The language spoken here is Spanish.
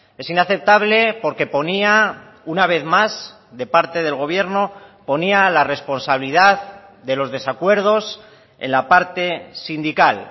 es inaceptable porque ponía una vez más de parte del gobierno ponía la responsabilidad de los desacuerdos en la parte sindical